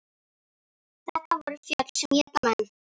Þetta voru fjöll sem éta menn.